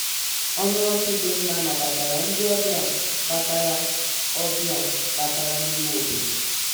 ọnụ ọchị dị mma nabatara ndị obịa batara obịa batara n'ime obodo.